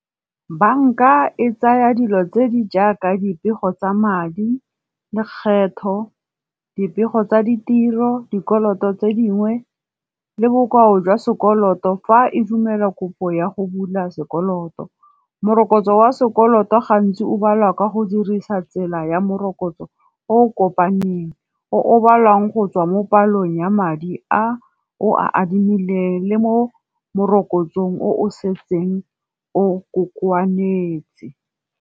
Banka e tsaya dilo tse di jaaka dipego tsa madi, lekgetho, dipego tsa ditiro, dikoloto tse dingwe, le bokao jwa sekoloto fa e dumela kopo ya go bula sekoloto. Morokotso wa sekoloto gantsi o balwa ka go dirisa tsela ya morokotso o o kopaneng, o o balwang go tswa mo dipalong ya madi a o a adimileng le mo morokotso o o setseng o kokoana setse.